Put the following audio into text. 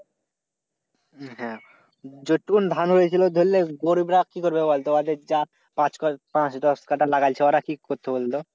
হ্যাঁ যটুকুন ধান হয়েছিল ধরলে, গরিবরা কি করবে বল তো? পাঁচ-দশকাটা লাগাইছে ওরা কি করছে বল তো?